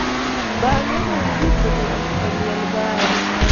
Bang�e ne gidhi keto lum e liel mare.